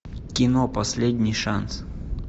кино последний шанс